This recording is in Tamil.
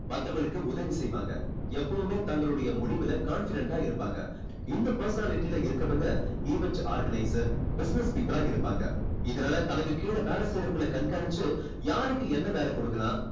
மத்தவங்களுக்கு உதவி செய்வாங்க. எப்பவுமே தங்களுடைய முடிவுல confident டா இருப்பாங்க. இந்த personality ல இருக்கவங்க event organizer business people ஆ இருப்பாங்க. இதனால தனக்கு கீழே வேலை செய்றவங்களை கண்காணிச்சு யாருக்கு என்ன வேலை கொடுக்கலாம்